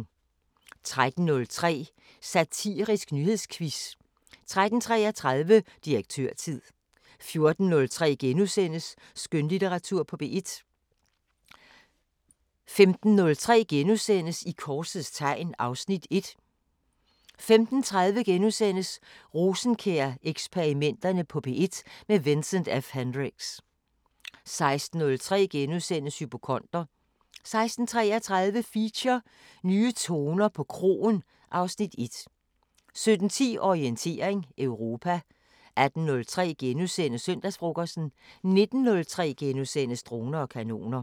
13:03: Satirisk nyhedsquiz 13:33: Direktørtid 14:03: Skønlitteratur på P1 * 15:03: I korsets tegn (Afs. 1)* 15:30: Rosenkjær-eksperimenterne på P1 – med Vincent F Hendricks * 16:03: Hypokonder * 16:33: Feature: Nye toner på kroen (Afs. 1) 17:10: Orientering Europa 18:03: Søndagsfrokosten * 19:03: Droner og kanoner *